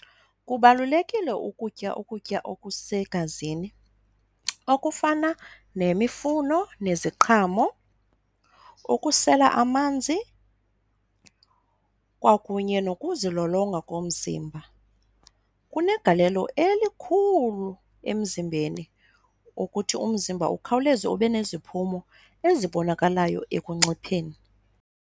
Kubalulekile ukutya ukutya okusegazini okufana nemifuno neziqhamo, ukusela amanzi kwakunye nokuzilolonga komzimba. Kunegalelo elikhulu emzimbeni ukuthi umzimba ukhawuleze ube neziphumo ezibonakalayo ekuncipheni.